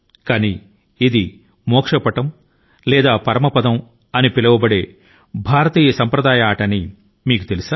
కానీ ఇది మోక్షపథం లేదా పరమపదం అని పిలిచే మరొక సాంప్రదాయకమైన భారతీయ ఆట అని మీకు తెలుసా